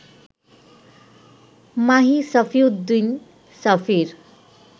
Mahi Safiuddin সাফির